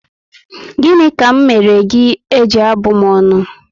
Gịnị ka m mèrè gị eji abụ m ọnụ?